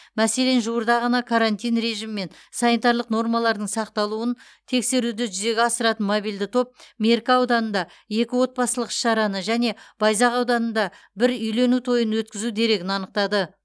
мәселен жуырда ғана карантин режимі мен санитарлық нормалардың сақталуын тексеруді жүзеге асыратын мобильді топ меркі ауданында екі отбасылық іс шараны және байзақ ауданында бір үйлену тойын өткізу дерегін анықтады